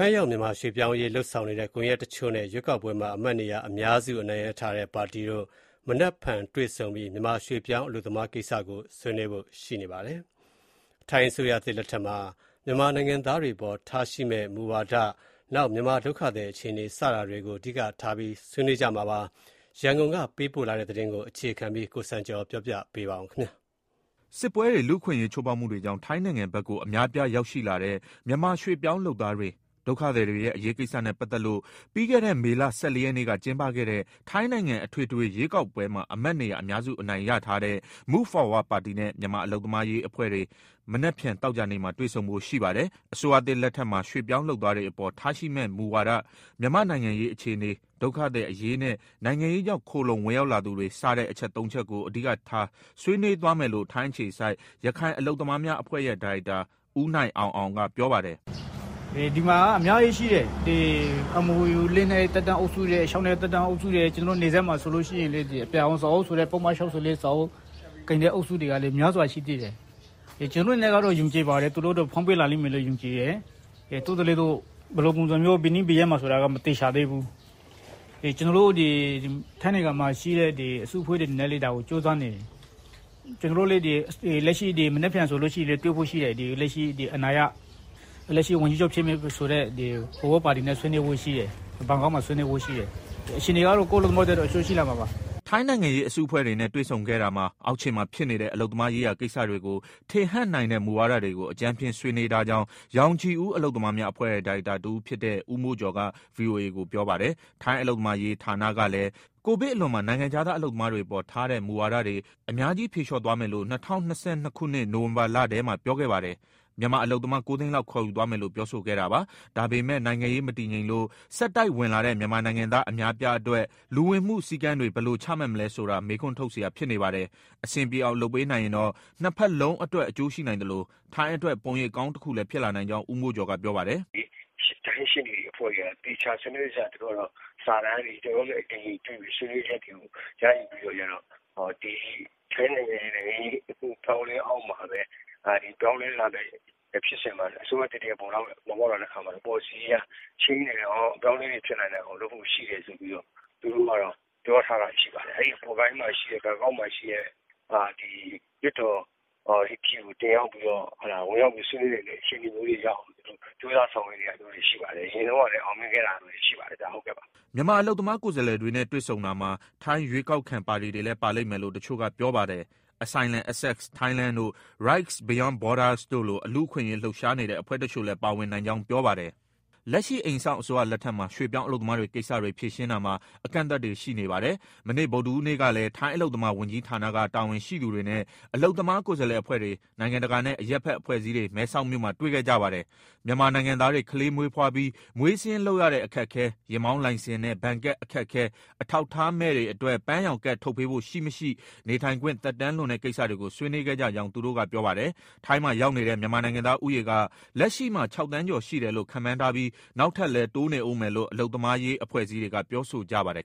င်းရောက် မြန်မာရွှေ့ပြောင်းအရေး လုပ်ဆောင်နေတဲ့ ကွန်ရက်တချို့နဲ့ ရွေးကောက်ပွဲမှာ အမတ်နေရာ အများစု နိုင်ရထားတဲ့ပါတီတို့ မနက်ဖြန်တွေ့ဆုံပြီး မြန်မာရွှေ့ပြောင်း အလုပ်သမားတွေကိစ္စကို ဆွေးနွေးဖို့ရှိပါတယ်။ ထိုင်းအစိုးရသစ်လက်ထက်မှာ မြန်မာနိုင်ငံသားတွေအပေါ် ထားရှိမဲ့မူဝါဒ၊ မြန်မာ ဒုက္ခသည်အခြေအနေ စတာတွေကို အဓိကထားပြီး ဆွေးနွေးကြမှာပါ။ ရန်ကုန်ကပေးပို့လာတဲ့ ဒီသတင်းကို အခြေခံပြီး ကိုစံကျော်က ပြောပြမှာပါ။ စစ်ပွဲတွေ၊ လူ့အခွင့်အရေး ချို့ဖောက်မှုတွေကြောင့် ထိုင်းနိုင်ငံဘက်ကို အများအပြားရောက်ရှိလာတဲ့ မြန်မာ ရွှေ့ပြောင်းလုပ်သားတွေ၊ ဒုက္ခသည်တွေရဲ့ အရေးကိစ္စနဲ့ပတ်သက်လို့ ပြီးခဲ့တဲ့ မေလ ၁၄ ရက်နေ့က ကျင်းပခဲ့တဲ့ ထိုင်းနိုင်ငံ အထွေထွေရွေးကောက်ပွဲမှာ အမတ်နေရာ အများစုအနိုင်ရထားတဲ့ Move Forward ပါတီနဲ့ မြန်မာအလုပ်သမားရေးအဖွဲ့တွေ မနက်ဖြန် သောကြာနေ့မှာ တွေ့ဆုံဖို့ရှိပါတယ်။ အစိုးရသစ်လက်ထက်မှာ ရွှေ့ပြောင်းလုပ်သားတွေအပေါ် ထားရှိမဲ့မူဝါဒ၊ မြန်မာ့နိုင်ငံရေး အခြေအနေ၊ ဒုက္ခသည်အရေးနဲ့ နိုင်ငံရေးကြောင့် ခိုလှုံဝင်ရောက်လာသူတွေ စတဲ့ အချက် သုံးချက်ကို အဓိကထား ဆွေးနွေးသွားမယ်လို့ ထိုင်းအခြေစိုက် ရခိုင်အလုပ်သမားများအဖွဲ့ရဲ့ ဒါရိုက်တာ ဦးနိုင်အောင်အောင်က ပြောပါတယ်။ " ဒီမှာက အများကြီးရှိတယ်။ MoU သက်တမ်းအုပ်စု၊ ၆နှစ်သက်တမ်းအုပ်စု၊ နယ်စပ်မှာဆိုလည်း အပြာရောင်စာအုပ်ဆိုတဲ့ ပုဒ်မ ၆၄စာအုပ် ကိုင်တဲ့သူတွေကလည်း များစွာရှိသေးတယ်။ ကျနော်တို့ကတော့ သူတို့အတွက် ဖွင့်ပေးလာလိမ့်မယ်လို့ ယုံကြည်တယ်။ ဒါပေမဲ့ ဘယ်နေ့ ဘယ်ရက်မှာဆိုတာ မသေချာသေးဘူး။ ကျနော်တို့ ထိုင်းနိုင်ငံမှာရှိတဲ့ အစုအဖွဲ့တွေလည်း ဒါကိုကြိုးစားနေတယ်။ မနက်ဖြန်ဆို လက်ရှိအာဏာရ ဝန်ကြီးချုပ်ဖြစ်မယ်ဆိုတဲ့ Forward ပါတီနဲ့ ဘန်ကောက်မှာ ဆွေးနွေးဖို့ရှိတယ်။ အခြေအနေကတော့ ကိုယ့်အလုပ်သမားအတွက် အကျိုးရှိလာမှာပါ။" ထိုင်းနိုင်ငံရေး အစုအဖွဲ့တွေနဲ့ တွေ့ဆုံခဲ့တာမှာ အောက်ခြေမှာဖြစ်နေတဲ့ အလုပ်သမားရေးရာ ကိစ္စတွေကို ထင်ဟပ်နိုင်တဲ့ မူဝါဒတွေကို အကြမ်းဖျင်း ဆွေးနွေးထားကြောင်း ရောင်ခြည်ဦး အလုပ်သမားများအဖွဲ့ရဲ့ ဒါရိုက်တာတဦးဖြစ်တဲ့ ဦးမိုးကျော်က ဗွီအိုအေကို ပြောပါတယ်။ ထိုင်းအလုပ်သမားရေး ဌာနကလည်း ကိုဗစ်အလွန်မှာ နိုင်ငံခြားသား အလုပ်သမားတွေအပေါ်ထားတဲ့ မူဝါဒတွေ အများကြီး ဖြေလျှော့သွားမယ်လို့ ၂၀၂၂ နိုဝင်ဘာလထဲမှာ ပြောခဲ့ပါတယ်။ မြန်မာအလုပ်သမား ၉သိန်းလောက် ခေါ်ယူသွားမယ်လို့ ပြောဆိုခဲ့တာပါ။ ဒါပေမဲ့ နိုင်ငံရေးမတည်ငြိမ်လို့ ဆက်တိုက်ဝင်လာတဲ့ မြန်မာနိုင်ငံသား အများအပြားအတွက် လူဝင်မှုစည်းကမ်းတွေ ဘယ်လိုချမှတ်မလဲဆိုတာ မေးခွန်းထုတ်စရာ ဖြစ်နေပါတယ်။ အဆင်ပြေအောင် လုပ်ပေးနိုင်ရင်တော့ နှစ်ဖက်လုံးအတွက် အကျိုးရှိနိုင်သလို၊ ထိုင်းအတွက် ပုံရိပ်ကောင်းတခုလည်း ဖြစ်လာနိုင်ကြောင်း ဦးမိုးကျော်က ပြောပါတယ်။ "ထိုင်းရှေ့နေ အဖွဲ့တွေကတော့ သေချာစနစ်တကျ စာတမ်းတွေ ကျနော်တို့နဲ့အတူတွေ့ပြီး ဆွေးနွေးရယူပြီး ထိုင်းနိုင်ငံရေး အပြောင်းအလဲ အောက်မှာပဲ ဒီ ပြောင်းလဲလာနိုင်တဲ့ ဖြစ်စဉ်မှာ၊ အစိုးရသစ်တရပ် ပေါ်ပေါက်လာတဲ့အခါမှာ ပေါ်လစီအရ ချိန်းနိုင်အောင်၊ အပြောင်းအလဲတွေ ဖြစ်နိုင်အောင်လုပ်ဖို့ ရှိတယ်ဆိုပြီး သူတို့ပြောထားတာ ရှိပါတယ်။ အဲဒီ ဘန်ကောက်မှာရှိတဲ့ လွှတ်တော်ကိုဝင်ရောက်ပြီး ဆွေးနွေးနိုင်တဲ့ အခြေအနေမျိုးရောက်အောင် ကြိုးစား ဆောင်ရွက်နေတာမျိုးတွေ ရှိပါတယ်။ အရင်တုန်းကလည်း အောင်မြင်ခဲ့တာမျိုးတွေ ရှိပါတယ်။" မြန်မာအလုပ်သမား ကိုယ်စားလှယ်တွေနဲ့ တွေ့ဆုံတာမှာ ထိုင်း ရွေးကောက်ခံပါတီတွေလည်း ပါလိမ့်မယ်လို့ တချို့ကပြောပါတယ်။ Asylum Access Thailand တို့ Rights Beyond Borders (RBB) တို့လို လူ့အခွင့်အရေး လှုပ်ရှားနေတဲ့ အဖွဲ့တချို့လည်း ပါဝင်နိုင်ကြောင်း ပြောပါတယ်။ လက်ရှိ အိမ်စောင့်အစိုးရလက်ထက်မှာ ရွှေ့ပြောင်း အလုပ်သမားကိစ္စတွေ ဖြေရှင်းတာမှာ အကန့်အသတ်တွေ ရှိပါတယ်။ မနေ့ ဗုဒ္ဓဟူးနေ့ကလည်း ထိုင်းအလုပ်သမား ဝန်ကြီးဌာနက တာဝန်ရှိသူတွေနဲ့ အလုပ်သမား ကိုယ်စားလှယ်အဖွဲ့တွေ၊ နိုင်ငံတကာနဲ့ အရပ်ဘက် အဖွဲ့အစည်းတွေ မဲဆောက်မြို့မှာ တွေ့ခဲ့ကြပါတယ်။ မြန်မာနိုင်ငံသားတွေ ကလေးမွေးဖွားပြီး မွေးစာရင်းလုပ်ရတဲ့ အခက်အခဲ၊ ယာဉ်မောင်းလိုင်စင်နဲ့ ဘဏ်ကတ်အခက်အခဲ၊ အထောက်အထားမဲ့တွေအတွက် ပန်းရောင်ကတ်ထုတ်ပေးဖို့ ရှိ၊ မရှိနဲ့ နေထိုင်ခွင့် သက်တမ်းလွန်တဲ့ကိစ္စတွေကို ဆွေးနွေးခဲ့ကြကြောင်း သူတို့က ပြောပါတယ်။ ထိုင်းမှာရောက်နေတဲ့ မြန်မာနိုင်ငံသားဦးရေက လက်ရှိမှာ ၆သန်းကျော်ရှိတယ်လို့ ခန့်မှန်းထားပြီး နောက်ထပ်လည်း တိုးနေဦးမယ်လို့ အလုပ်သမားရေး အဖွဲ့အစည်းတွေက ပြောဆိုကြပါတယ်